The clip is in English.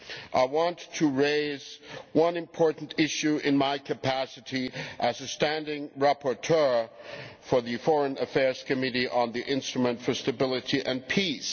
I want to raise one important issue in my capacity as the standing rapporteur for the Committee on Foreign Affairs on the Instrument for Stability and Peace.